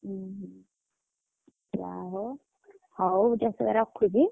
ଉହୁଁ ଯାହା ହଉ ହଉ ଯଶୋଦା ରଖୁଛି?